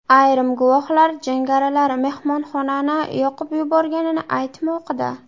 Ayrim guvohlar jangarilar mehmonxonani yoqib yuborganini aytmoqda.